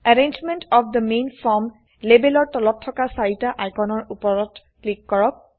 arrangement of the main form লেবেলৰ তলত থকাচাৰিটা আইকনৰ উপৰত ক্লিক কৰক